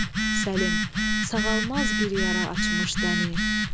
Sağalmaz bir yara açmış dəni!